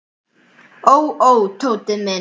Ó, ó, Tóti minn.